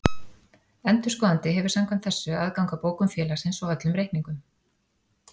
Endurskoðandi hefur samkvæmt þessu aðgang að bókum félagsins og öllum reikningum.